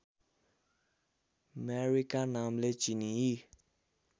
मेरीका नामले चिनिई